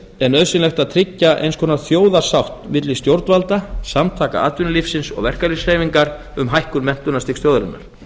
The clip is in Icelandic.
er nauðsynlegt að tryggja eins konar þjóðarsátt milli stjórnvalda samtaka atvinnulífsins og verkalýðshreyfingar um hækkun menntunarstigs þjóðarinnar